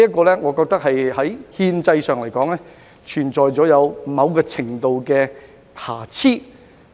我認為這項安排在憲制上存在某程度的瑕疵。